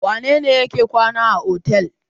Wane ne yake kwana a otel?